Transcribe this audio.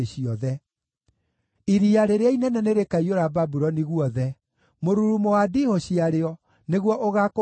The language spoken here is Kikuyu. Iria rĩrĩa inene nĩrĩkaiyũra Babuloni guothe; mũrurumo wa ndiihũ ciarĩo nĩguo ũgaakũhubanĩria.